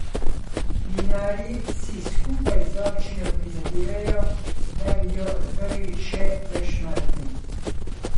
Vinarji si skupaj z občino prizadevajo, da bi jo odprli še v Šmartnem.